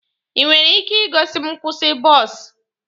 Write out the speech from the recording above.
Ị nwere ike igosi m nkwụsị bọs?